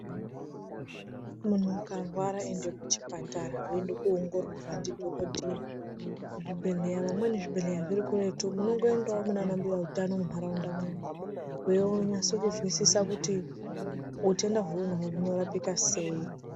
Munhu ukarwara ende kuchipatara weinde koongororwe ndidhokodheya. Muzvibhehleya vamweni zvibhehleya zviri kuretu munongoendawo munanambuya utano munharaundamwo weinyase kuzwisisa kuti utenda weuinahwo hunorapika sei .